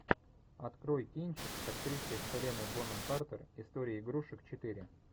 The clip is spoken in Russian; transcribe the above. открой кинчик с актрисой хеленой бонем картер история игрушек четыре